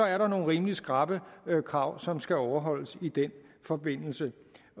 er der nogle rimelig skrappe krav som skal overholdes i den forbindelse